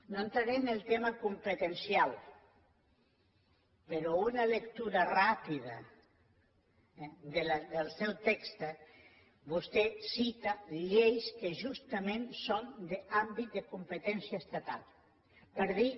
no entraré en el tema competencial però en una lectura ràpida del seu text vostè cita lleis que justament són d’àmbit de competència estatal per dir